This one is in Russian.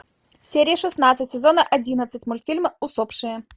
серия шестнадцать сезона одиннадцать мультфильма усопшие